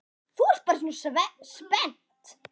Þú ert bara svona spennt.